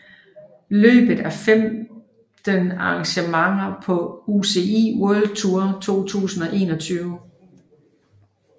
Løbet er femte arrangement på UCI World Tour 2021